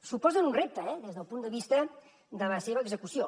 suposen un repte eh des del punt de vista de la seva execució